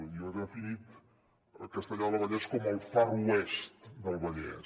jo he definit castellar del vallès com el far west del vallès